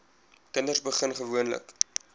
kinders begin gewoonlik